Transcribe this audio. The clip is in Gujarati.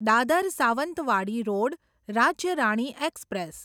Dadar Sawantwadi road Rajya Rani express